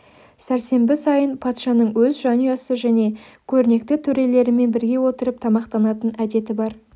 сәрсенбі сайын патшаның өз жанұясы және көрнекті төрелерімен бірге отырып тамақтанатын әдеті бар